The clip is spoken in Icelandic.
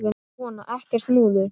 Svona, ekkert múður.